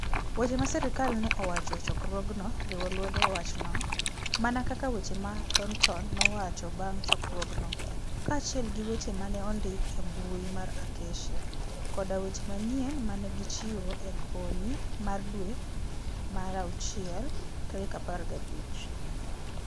Weche ma sirkal ne owacho e chokruogno riwo lwedo wachno, mana kaka weche ma Thornton nowacho bang' chokruogno, kaachiel gi weche ma ne ondik e mbui mar Acacia, koda weche manyien ma ne gichiwo e okinyi mar dwe mar awuchiel 15.